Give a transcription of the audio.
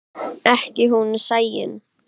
Ekki hún Sæunn.